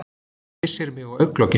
Kyssir mig á augnalokin.